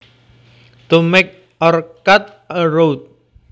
To make or cut a route